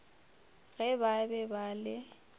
ge ba be ba le